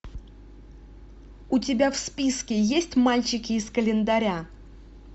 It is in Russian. у тебя в списке есть мальчики из календаря